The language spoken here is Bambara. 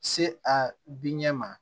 Se a diɲɛ ma